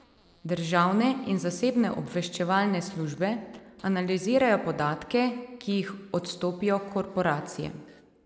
Državne in zasebne obveščevalne službe analizirajo podatke, ki jih odstopijo korporacije.